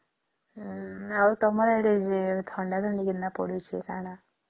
ଆଉ ତମର ଆଡେ ଥଣ୍ଡା ତା କେମତିଆ ପଡୁଛି କଣ